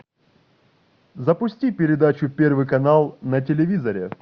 запусти передачу первый канал на телевизоре